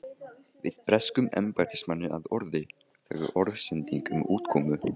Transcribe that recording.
varð breskum embættismanni að orði, þegar orðsending um útkomu